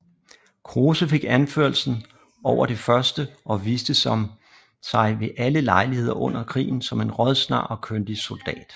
Kruse fik anførselen over det første og viste sig ved alle lejligheder under krigen som en rådsnar og kyndig soldat